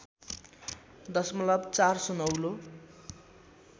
दशमलव ४ सुनौलो